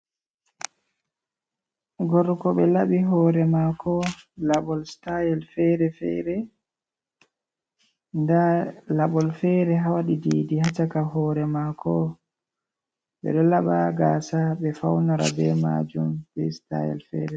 Gorko ɓe laɓi hore mako laɓol sitayel(style) fere-fere. Nda laɓol fere ha waɗi bindi ha chaka hore mako. Ɓedo laɓa gasa be faunara be majum b sitayel fere.